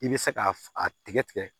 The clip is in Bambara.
I bɛ se k'a a tigɛ tigɛ